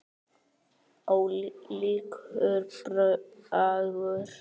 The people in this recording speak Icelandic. Ólíkur bragur.